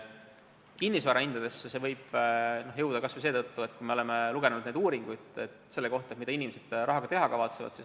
Kinnisvara hindadesse see võib tõesti jõuda – me ju oleme lugenud uuringutest selle kohta, mida inimesed selle rahaga teha kavatsevad.